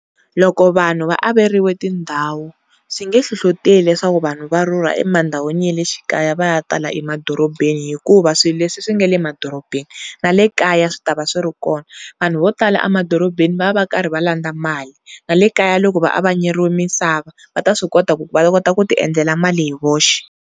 Loko vanhu va averiwe tindhawu swi nge hlohloteli leswaku vanhu va rhurha emandhawini ya le xikaya va ya tala emadorobeni hikuva swilo leswi swi nga emadorobeni na lekaya swi ta va swiri kona vanhu vo tala emadorobeni va va va karhi va landza mali, na le kaya loko va avanyeriwe misava va ta swi kota ku ku va kota ku ti endlela mali hi voxe.